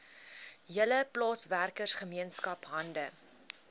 hele plaaswerkergemeenskap hande